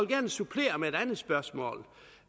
gerne supplere med et andet spørgsmål